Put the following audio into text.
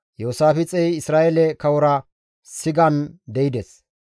Iyoosaafixey Isra7eele kawora sigan de7ides.